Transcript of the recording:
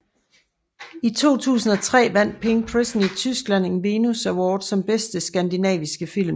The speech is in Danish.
I 2003 vandt Pink Prison i Tyskland en Venus Award som Bedste Skandinaviske Film